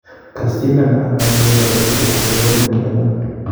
kasindan ama en uindo agetugul ak en oret ne iyanat